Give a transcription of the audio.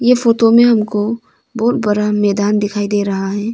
ये फोटो में हमको बहुत बड़ा मैदान दिखाई दे रहा है।